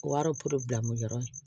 O bila mun dɔrɔn ye